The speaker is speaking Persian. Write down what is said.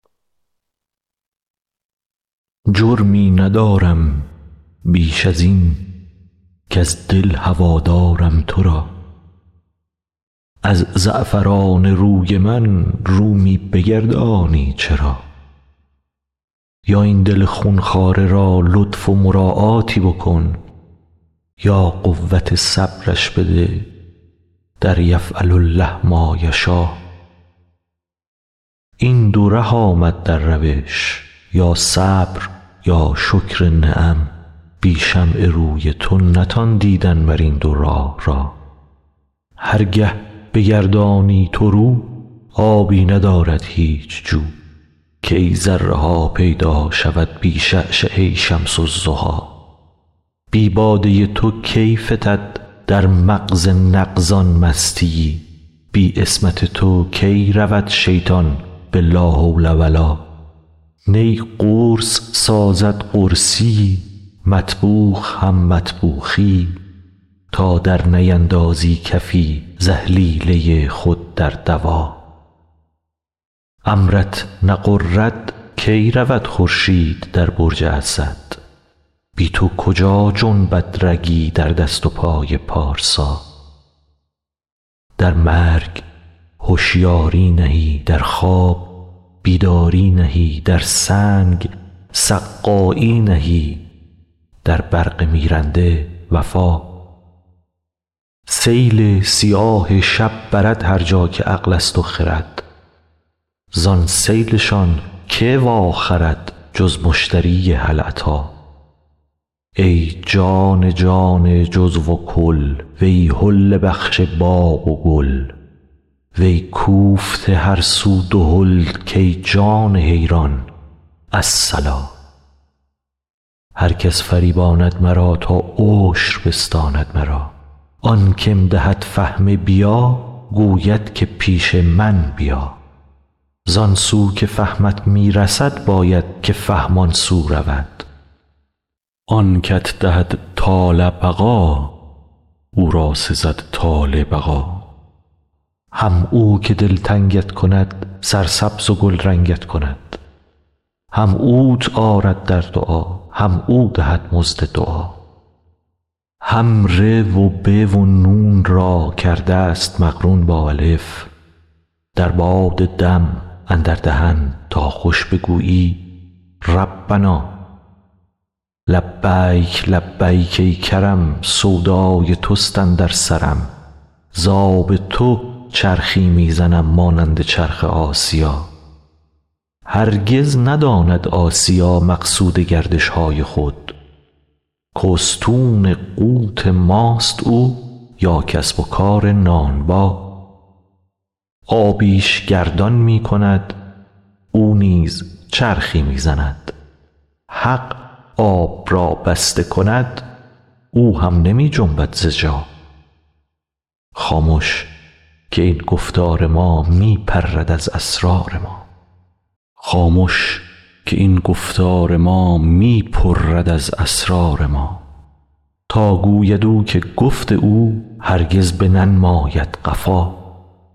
جرمی ندارم بیش از این کز دل هوا دارم تو را از زعفران روی من رو می بگردانی چرا یا این دل خون خواره را لطف و مراعاتی بکن یا قوت صبرش بده در یفعل الله ما یشا این دو ره آمد در روش یا صبر یا شکر نعم بی شمع روی تو نتان دیدن مر این دو راه را هر گه بگردانی تو رو آبی ندارد هیچ جو کی ذره ها پیدا شود بی شعشعه شمس الضحی بی باده تو کی فتد در مغز نغز ان مستی یی بی عصمت تو کی رود شیطان به لا حول و لا نی قرص سازد قرصی یی مطبوخ هم مطبوخی یی تا درنیندازی کفی ز اهلیله خود در دوا امرت نغرد کی رود خورشید در برج اسد بی تو کجا جنبد رگی در دست و پای پارسا در مرگ هشیاری نهی در خواب بیداری نهی در سنگ سقایی نهی در برق میرنده وفا سیل سیاه شب برد هر جا که عقل است و خرد زان سیل شان کی واخرد جز مشتری هل اتی ای جان جان جزو و کل وی حله بخش باغ و گل وی کوفته هر سو دهل کای جان حیران الصلا هر کس فریباند مرا تا عشر بستاند مرا آن که م دهد فهم بیا گوید که پیش من بیا زان سو که فهمت می رسد باید که فهم آن سو رود آن که ت دهد طال بقا او را سزد طال بقا هم او که دلتنگ ت کند سرسبز و گلرنگ ت کند هم اوت آرد در دعا هم او دهد مزد دعا هم ری و بی و نون را کرده ست مقرون با الف در باد دم اندر دهن تا خوش بگویی ربنا لبیک لبیک ای کرم سودای توست اندر سرم ز آب تو چرخی می زنم مانند چرخ آسیا هرگز نداند آسیا مقصود گردش های خود که استون قوت ماست او یا کسب و کار نانبا آبی ش گردان می کند او نیز چرخی می زند حق آب را بسته کند او هم نمی جنبد ز جا خامش که این گفتار ما می پرد از اسرار ما تا گوید او که گفت او هرگز بننماید قفا